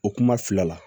O kuma fila la